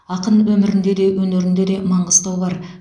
ақын өмірінде де өнерінде де маңғыстау бар